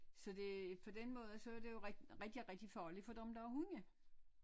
Så det på den måde så er det jo rigtig rigtig rigtig farligt for dem der har hunde